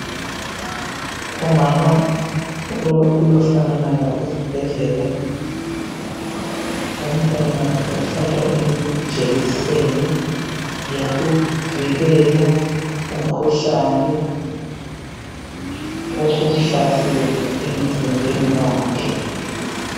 Umama ulosana lwakhe esibhedlela. Umntwana ohlatshwa ijekiseni yokuvikela umkhuhlane osumhlasele emzimbeni wakhe.